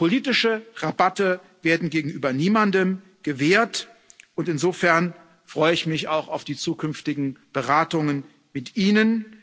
Politische Rabatte werden gegenüber niemandem gewährt, und insofern freue ich mich auch auf die zukünftigen Beratungen mit Ihnen.